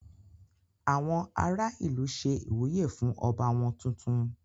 Àwọn ará ìlú ṣe ìwúyè fún ọba wọ́n tuntun.